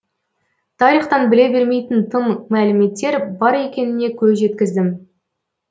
тарихтан біле бермейтін тың мәліметтер бар екеніне көз жеткіздім